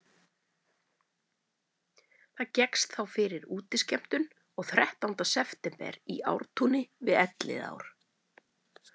Það gekkst þá fyrir útiskemmtun og þrettánda september í Ártúni við Elliðaár.